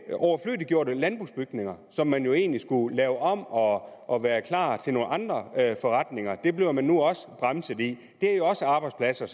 overflødiggjorte landbrugsbygninger som man jo egentlig skulle lave om og og gøre klar til andre forretninger bliver man nu også bremset i det er jo også arbejdspladser